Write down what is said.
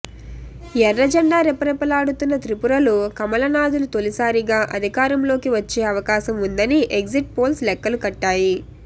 ఎర్రజెండా రెపరెపలాడుతున్న త్రిపురలో కమలనాథులు తొలిసారిగా అధికారంలోకి వచ్చే అవకాశం ఉందని ఎగ్జిట్ పోల్స్ లెక్కలు కట్టాయి